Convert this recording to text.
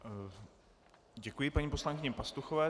Děkuji paní poslankyni Pastuchové.